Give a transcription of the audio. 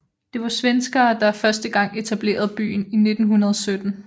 Det var svenskere der første gang etablerede byen i 1917